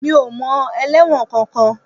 Mi ò mọ ẹlẹ́wọ̀n kankan